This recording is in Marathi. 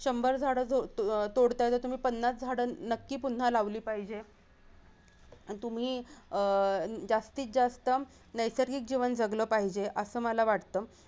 शंभर झाडं तोडताय तर तुम्ही पन्नास झाडं नक्की पुन्हा लावली पाहिजे तुम्ही अह जास्तीत जास्त नैसर्गिक जीवन जगल पाहिजे असं मला वाटत